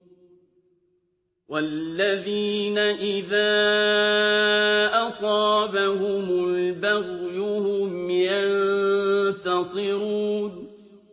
وَالَّذِينَ إِذَا أَصَابَهُمُ الْبَغْيُ هُمْ يَنتَصِرُونَ